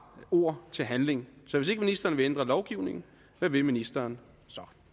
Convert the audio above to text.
ord til handling så hvis ikke ministeren vil ændre lovgivningen hvad vil ministeren